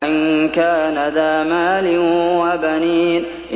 أَن كَانَ ذَا مَالٍ وَبَنِينَ